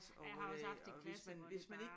Jeg har også haft en klasse hvor det bare